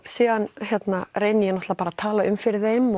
síðan reyni ég náttúrulega bara að tala um fyrir þeim